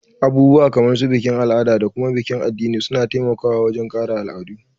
Abubuwa kamar su bikin al'ada da kuma bikin addini suna taimaka wajen kare al'adu